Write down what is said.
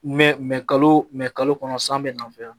Mɛ kalo mɛ kalo kɔnɔ san bɛna n fɛ yan